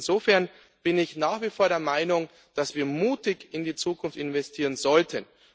Insofern bin ich nach wie vor der Meinung, dass wir mutig in die Zukunft investieren sollten.